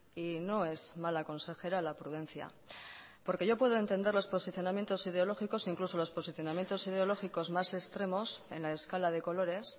y no es mala consejera la prudencia porque yo puedo entender los posicionamientos ideológicos incluso los posicionamientos ideológicos más extremos en la escala de colores